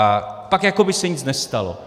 A pak jako by se nic nestalo.